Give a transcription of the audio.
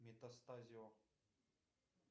метастазио